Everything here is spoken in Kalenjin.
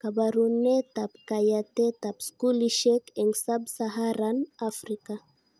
Kabarunetab kayatetab skulishek eng Sub-Saharan Afrika